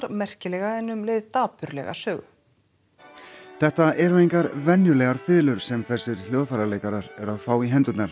merkilega en um leið dapurlega sögu þetta eru engar venjulegar fiðlur sem þessir hljóðfæraleikarar eru að fá í hendurnar